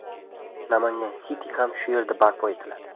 Namangan City ham shu yerda barpo etiladi.